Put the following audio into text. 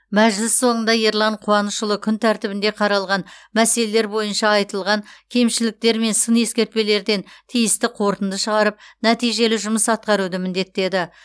мәжіліс соңында ерлан қуанышұлы күн тәртібінде қаралған мәселелер бойынша айтылған кемшіліктер мен сын ескертпелерден тиісті қорытынды шығарып нәтижелі жұмыс атқаруды міндеттеді